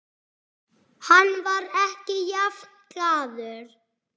Hann var ekki jafn glaður.